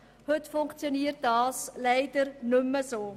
Heute funktioniert dies leider nicht mehr so.